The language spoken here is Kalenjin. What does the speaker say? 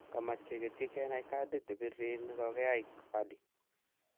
kamach kegetyi kenai kadit nepirir negagigae Verdy